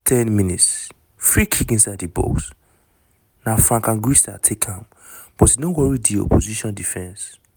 10 mins - free kick inside di box na frank anguissa take am but e no worry di opposition defence.